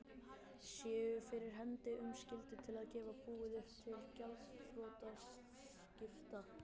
séu fyrir hendi um skyldu til að gefa búið upp til gjaldþrotaskipta.